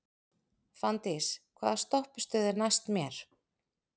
Fanndís, hvaða stoppistöð er næst mér?